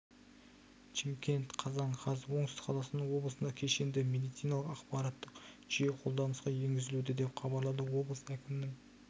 шымкент қазан қаз оңтүстік қазақстан облысында кешенді медициналық ақпараттық жүйе қолданысқа енгізілуде деп хабарлады облыс әкімінің